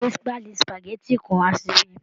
Gbé páálí spageti kan wá síbí